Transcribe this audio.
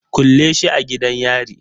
Kulle shi a gidan yari